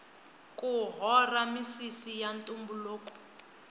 ku hora misisi ya ntumbuluko